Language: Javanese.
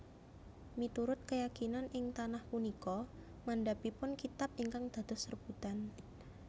Miturut keyakinan ing tanah punika mandhapipun kitab ingkang dados rebutan